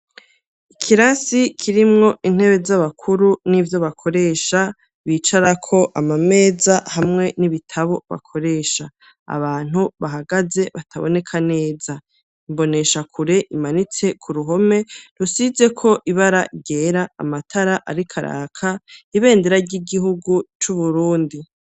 Ikirasi kirimwo intebe z'abakuru n'ivyo bakoresha, bicara ko amameza hamwe n'ibitabo bakoresha abantu bahagaze bataboneka neza. Imboneshakure imanitse ku ruhome rusize ko ibaragera amatara arikaraka ibendera ry'igihugu c'uburundi.